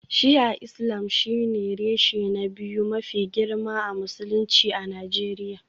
Shi'a Islam shine reshe na biyu mafi girma a Musulunci a Najeriya